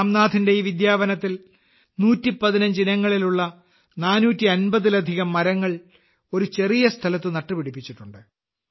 രാംനാഥിന്റെ ഈ വിദ്യാവനത്തിൽ 115 ഇനങ്ങളിലുള്ള 450ലധികം മരങ്ങൾ ഒരു ചെറിയ സ്ഥലത്ത് നട്ടുപിടിപ്പിച്ചിട്ടുണ്ട്